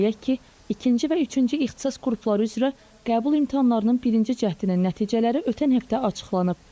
Qeyd eləyək ki, ikinci və üçüncü ixtisas qrupları üzrə qəbul imtahanlarının birinci cəhdinin nəticələri ötən həftə açıqlanıb.